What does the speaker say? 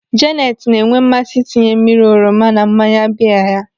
Janet na-enwe mmasị ịtinye mmiri oroma na mmanya biya ya.